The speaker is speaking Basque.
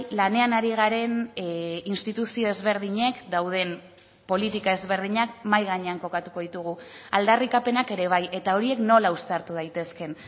lanean ari garen instituzio ezberdinek dauden politika ezberdinak mahai gainean kokatuko ditugu aldarrikapenak ere bai eta horiek nola uztartu daitezkeen